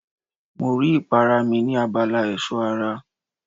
Mi ò rí ìpara mi ní abala ẹ̀ṣọ́ ara.